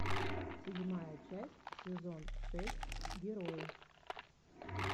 седьмая часть сезон шесть герои